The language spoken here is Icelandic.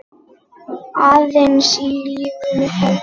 Aðeins ef lífið hefði.?